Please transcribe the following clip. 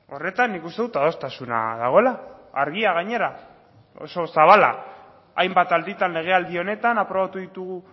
horretan nik uste dut adostasuna dagoela argia gainera oso zabala hainbat alditan legealdi honetan aprobatu ditugu